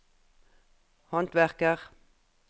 håndverker